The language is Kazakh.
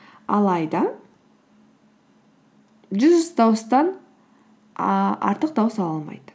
алайда жүз дауыстан ііі артық дауыс ала алмайды